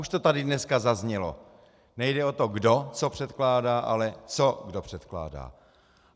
Už to tady dneska zaznělo - nejde o to, kdo co předkládá, ale co kdo předkládá.